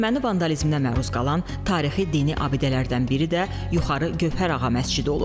Erməni vandalizminə məruz qalan tarixi dini abidələrdən biri də Yuxarı Gövhərağa məscidi olub.